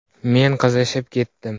“Men qizishib ketdim.